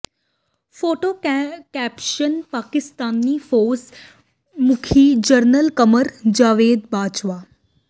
photo caption Pakistani ਫ਼ੌਜ ਮੁਖੀ general Qamar Javed Bajwa